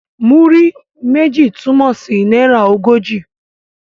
Múrí méjì' túmọ̀ sí náírà ogójì.